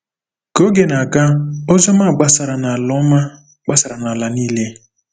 Ka oge na-aga, ozi ọma gbasara n’ala ọma gbasara n’ala niile.